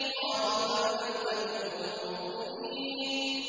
قَالُوا بَل لَّمْ تَكُونُوا مُؤْمِنِينَ